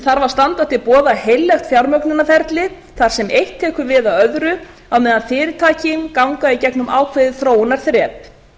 þarf að standa til boða heillegt fjármögnunarferli þar sem eitt tekur við af öðru á meðan fyrirtækin ganga í gegnum ákveðið þróunarþrep